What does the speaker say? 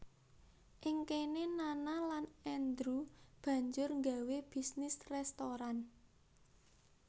Ing kene Nana lan Andrew banjur nggawé bisnis restoran